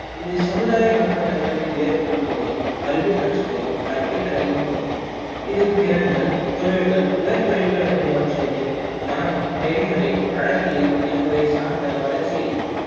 இது சமுதாய நுட்ப தகைமையை ஏற்படுத்துவதையும் கல்வி கற்றலையும் கற்பித்தலையும் குறிக்கும் இது திறன்கள், தொழில்கள், உயர் தொழில்கள் என்பவற்றோடு மனம், நெறிமுறை, என்பவை சார்ந்த வளர்ச்சியையும்